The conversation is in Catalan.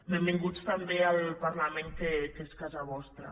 benvinguts també al parlament que és casa vostra